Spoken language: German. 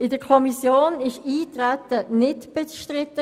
In der Kommission war das Eintreten auf dieses Geschäft nicht bestritten.